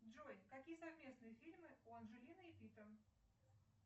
джой какие совместные фильмы у анджелины и питта